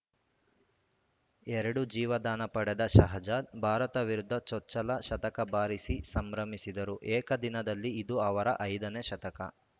ಎರಡು ಜೀವದಾನ ಪಡೆದ ಶಹಜಾದ್‌ ಭಾರತ ವಿರುದ್ಧ ಚೊಚ್ಚಲ ಶತಕ ಬಾರಿಸಿ ಸಂಭ್ರಮಿಸಿದರು ಏಕದಿನದಲ್ಲಿ ಇದು ಅವರ ಐದ ನೇ ಶತಕ